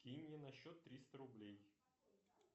кинь мне на счет триста рублей